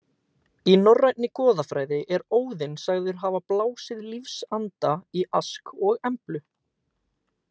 Í norrænni goðafræði er Óðinn sagður hafa blásið lífsanda í Ask og Emblu.